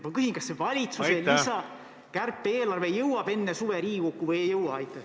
Ma küsin nii: kas valitsuse kärpe-eelarve jõuab enne suve Riigikokku või ei jõua?